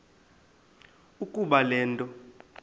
ukuba le nto